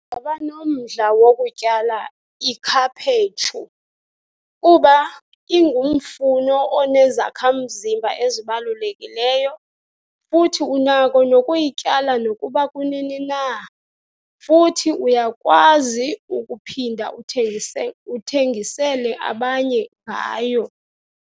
nomdla wokutyala ikhaphetshu kuba ingumfuno onezakha mzimba ezibalulekileyo, futhi unako nokuyityala nokuba kunini na. Futhi uyakwazi ukuphinda uthengise, uthengisele abanye ngayo.